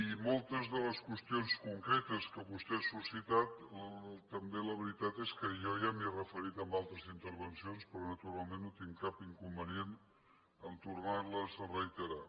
i moltes de les qüestions concretes que vostè ha suscitat també la veritat és que jo ja m’hi he referit en altres intervencions però naturalment no tinc cap inconvenient en tornar les a reiterar